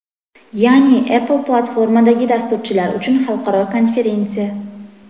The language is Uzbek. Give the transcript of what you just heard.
ya’ni apple platformalaridagi dasturchilar uchun xalqaro konferensiya.